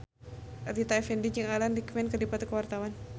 Rita Effendy jeung Alan Rickman keur dipoto ku wartawan